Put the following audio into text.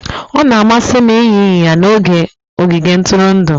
Ọ na-amasị m ịnya ịnyịnya na ogige ntụrụndụ